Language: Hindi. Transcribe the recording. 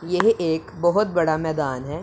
यह एक बहोत बड़ा मैदान है।